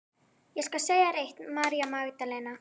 Ég skal segja þér eitt, María Magdalena.